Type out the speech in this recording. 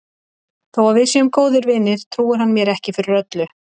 Þó að við séum góðir vinir trúir hann mér ekki fyrir öllu.